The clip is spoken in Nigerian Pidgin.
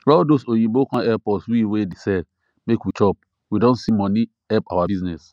all those oyinbo come help us we wey dey sell make we chop we don see money help our business